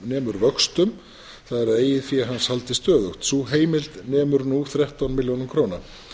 nemur vöxtum það er að eigið fé hans haldist stöðugt sú heimild nemur nú þrettán milljónum króna